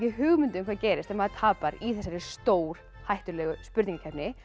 hugmynd um hvað gerist ef maður tapar í þessari stórhættulegu spurningakeppni